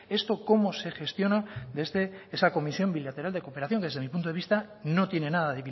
esto cómo se gestiona desde esa comisión bilateral de cooperación que desde mi punto de vista no tiene nada